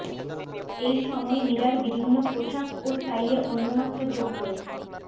এই সময় মীরার বিভিন্ন পোশাকও স্টাইলে অন্যমাত্রা যোগ করেছে